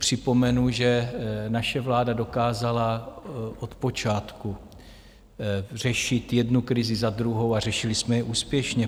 Připomenu, že naše vláda dokázala od počátku řešit jednu krizi za druhou a řešili jsme je úspěšně.